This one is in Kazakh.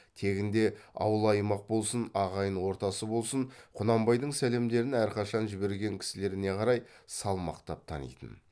тегінде ауыл аймақ болсын ағайын ортасы болсын құнанбайдың сәлемдерін әрқашан жіберген кісілеріне қарай салмақтап танитын